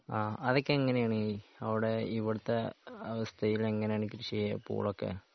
ആ അതൊക്കെ എങ്ങനെയാണ് ഈ അവിടെ ഇവിടുത്തെ അവസ്ഥയിൽ എങ്ങനെയാണ് കൃഷി ചെയ്യുക പൂളയൊക്കെ